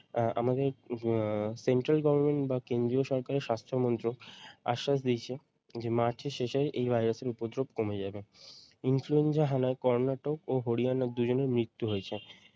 আহ আমাদের আহ central government বা কেন্দ্রীয় সরকারের স্বাস্থ্য মন্ত্রক আশ্বাস দিয়েছে যে মার্চের শেষে এই ভাইরাসের উপদ্রব কমে যাবে। influenza এর হানায় কর্ণাটক হরিয়ানার দুইজনেই মৃত্যু হয়েছে।